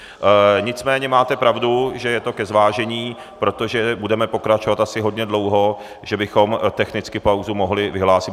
Nicméně máte pravdu, že je to ke zvážení, protože budeme pokračovat asi hodně dlouho, že bychom technicky pauzu mohli vyhlásit.